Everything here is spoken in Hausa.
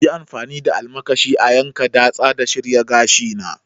Yi amfani da almakashi a yanka, datsa da shirya gashina!